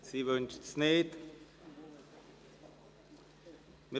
– Das scheint nicht der Fall zu sein.